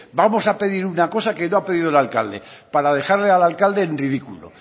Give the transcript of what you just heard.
vamos a pedir una cosa que no ha pedido el alcalde para dejarle al alcalde en ridículo